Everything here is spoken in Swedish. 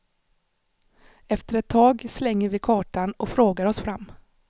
Efter ett tag slänger vi kartan och frågar oss fram.